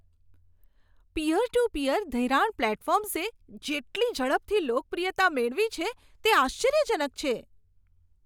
Peer to peer ધિરાણ પ્લેટફોર્મ્સે જેટલી ઝડપથી લોકપ્રિયતા મેળવી છે, તે આશ્ચર્યજનક છે.